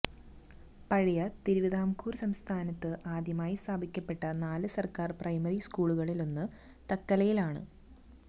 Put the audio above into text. പഴയ തിരുവിതാംകൂർ സംസ്ഥാനത്ത് ആദ്യമായി സ്ഥാപിക്കപ്പെട്ട നാല് സർക്കാർ പ്രൈമറി സ്കൂളുകളിലൊന്ന് തക്കലയിലാണ്